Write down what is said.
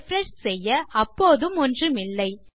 refresh செய்ய அப்போதும் ஒன்றுமில்லை